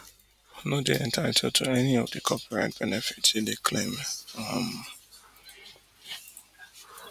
no dey entitled to any of di copyright benefits hin dey claim um